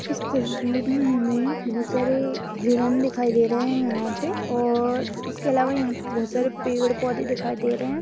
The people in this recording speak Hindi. इस तस्वीर मैं हमें बहुत सारे हिरन दिखाई दे रहे है यहाँ पे और इसके आलावा यहाँ पे बहुत सारे पेड़ पौधे दिखाई दे रहे है।